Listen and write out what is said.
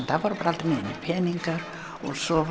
það voru aldrei neinir peningar og svo